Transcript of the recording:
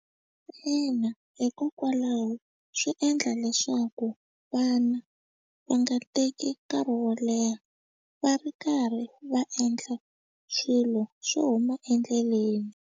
Ina, hikokwalaho swi endla leswaku vana va nga teki nkarhi wo leha va ri karhi va endla swilo swo huma endleleni.